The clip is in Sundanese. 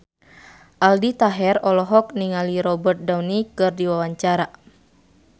Aldi Taher olohok ningali Robert Downey keur diwawancara